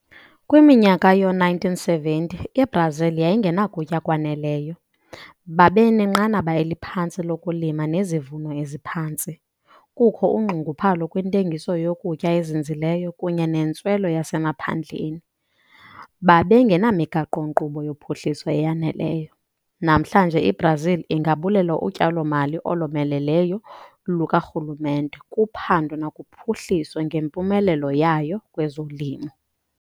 Kwiminyaka yoo-1970, iBrazil yayingenakutya kwaneleyo, babenenqanaba eliphantsi lokulima nezivuno eziphantsi, kukho unxunguphalo kwintengiso yokutya ezinzileyo kunye nentswelo yasemaphandleni, babengenamigaqo-nkqubo yophuhliso eyaneleyo. Namhlanje iBrazil ingabulela utyalo-mali olomeleleyo lukarhulumente kuphando nakuphuhliso ngempumelelo yayo kwezolimo.